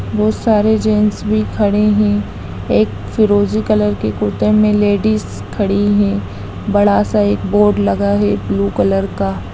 बहुत सारे जेंट्स भी खड़े हैं एक फिरोजी कलर के कुर्ते मे लेडिज खड़ी है बड़ा-सा एक बोर्ड लगा है ब्लू कलर का----